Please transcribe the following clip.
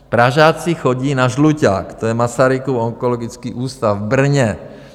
Pražáci chodí na Žluťák, to je Masarykův onkologický ústav v Brně.